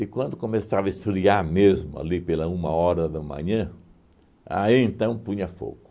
quando começava a esfriar mesmo ali pela uma hora da manhã, aí então punha fogo.